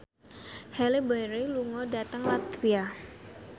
Halle Berry lunga dhateng latvia